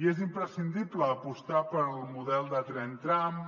i és imprescindible apostar pel model de tren tram